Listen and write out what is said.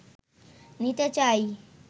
নিতে চাই